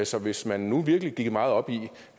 så hvis man nu virkelig gik meget op i